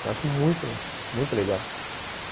Eu acho muito, muito legal.